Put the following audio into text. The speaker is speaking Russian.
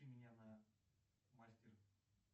меня на мастер